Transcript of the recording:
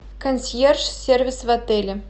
консьерж сервис в отеле